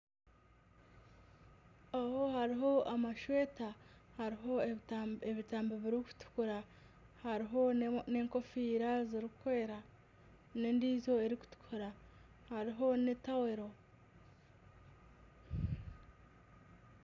Aho hariho amashweta, hariho ebitambi birikutukura, hariho n'enkofiira zirikwera n'endijo erikutukura hariho n'etawuro.